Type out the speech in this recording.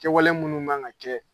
Kɛwale munnu man kan ka kɛ